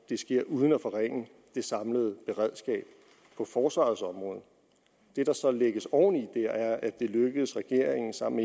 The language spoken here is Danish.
det sker uden at forringe det samlede beredskab på forsvarets område det der så lægges oven i det er at det er lykkedes regeringen sammen